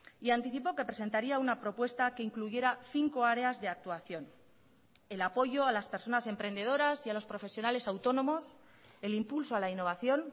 y anticipó que presentaría una propuesta que incluyera cinco áreas de actuación el apoyo a las personas emprendedoras y a los profesionales autónomos el impulso a la innovación